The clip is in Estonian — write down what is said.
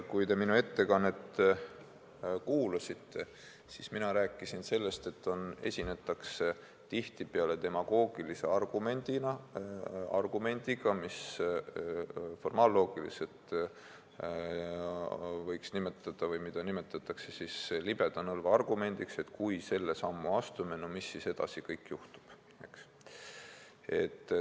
Kui te minu ettekannet kuulasite, siis ma rääkisin sellest, et tihtipeale esinetakse demagoogilise argumendiga, mida formaalloogiliselt võiks nimetada või mida nimetatakse "libeda nõlva" argumendiks: et kui selle sammu astume, mis siis kõik edasi juhtub.